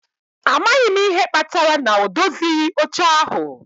A maghị m ihe kpatara na ọ dozighị oche ahụ